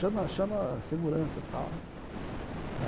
Chama chama a segurança, tal, né.